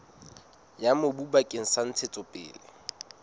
ya mobu bakeng sa ntshetsopele